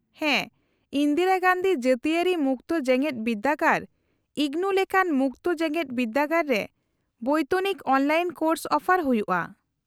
-ᱦᱮᱸ, ᱤᱱᱫᱤᱨᱟ ᱜᱟᱱᱫᱷᱤ ᱡᱟᱹᱛᱤᱭᱟᱹᱨᱤ ᱢᱩᱠᱛᱚ ᱡᱮᱜᱮᱫ ᱵᱤᱨᱫᱟᱹᱜᱟᱲ , ᱤᱜᱱᱩ ᱞᱮᱠᱟᱱ ᱢᱩᱠᱛᱚ ᱡᱮᱜᱮᱫ ᱵᱤᱨᱫᱟᱹᱜᱟᱲ ᱨᱮ ᱵᱚᱭᱛᱚᱱᱤᱠ ᱚᱱᱞᱟᱭᱤᱱ ᱠᱳᱨᱥ ᱚᱯᱷᱟᱨ ᱦᱩᱭᱩᱜᱼᱟ ᱾